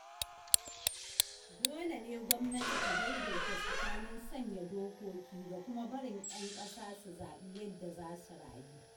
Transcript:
Dole ne gwamnati ta daidaita tsakanin sanya dokoki da kuma barin ‘yan kasa su zaɓi yadda za su rayu.